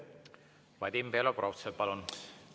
Vadim Belobrovtsev, palun!